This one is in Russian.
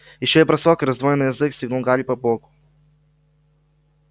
ещё бросок и раздвоенный язык стегнул гарри по боку